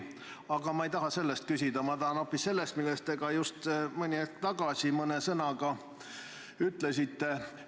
Aga ma ei taha selle kohta küsida, ma tahan küsida hoopis selle kohta, millest te just hetk tagasi mõne sõnaga rääkisite.